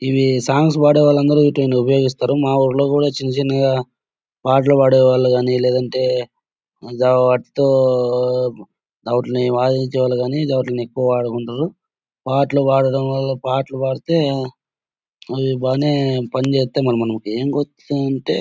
ఇవి సాంగ్స్ పాడేవాళ్ళందరూ వీటిని ఉపయోగిస్తారు మా ఊర్లో కూడా చిన్న చిన్నగా పాటలు పడేవాళ్ళు గాని లేదంటే వాయించేవాళ్ళు కానీ వాటిల్ని ఎక్కువ వాడుకుంటారు పాటలు పాడటం వళ్ళ పాటలు పాడితే పని చేస్తాం మనం .